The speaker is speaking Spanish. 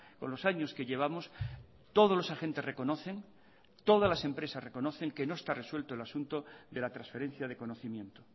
con los años que llevamos todos los agentes reconocen todas las empresas reconocen que no está resuelto el asunto de la transferencia de conocimiento